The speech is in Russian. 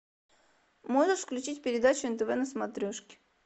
можешь включить передачу нтв на смотрешке